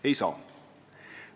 Ei saa!